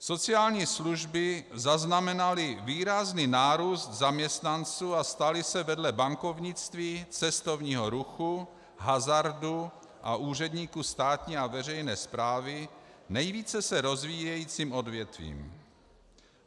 Sociální služby zaznamenaly výrazný nárůst zaměstnanců a staly se vedle bankovnictví, cestovního ruchu, hazardu a úředníků státní a veřejné správy nejvíce se rozvíjejícím odvětvím.